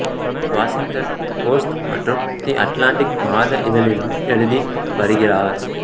தி Washington Post மற்றும் the Atlantic மாத இதழிலும் எழுதி வருகிறார்